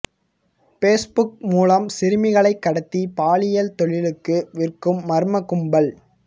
base book மூலம் சிறுமிகளை கடத்தி பாலியல் தொழிலுக்கு விற்கும் மர்ம கும்பல்